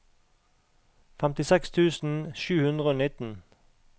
femtiseks tusen sju hundre og nitten